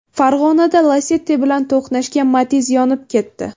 Farg‘onada Lacetti bilan to‘qnashgan Matiz yonib ketdi.